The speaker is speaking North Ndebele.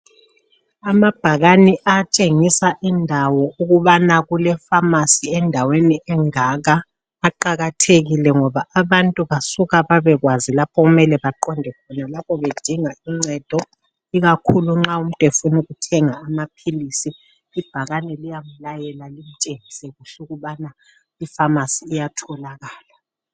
Amabhakane atshengisa indawo ukubana kulekhemisi endaweni engaka aqakathekile ngoba abantu basuka babekwazi lapho okumele baqonde khona lapho bedinga uncedo ikakhulu nxa umuntu efuna ukuthenga amaphilizi ibhakane liyakulayela likutshengise kuhle ukubana ikhemisi iyatholakala.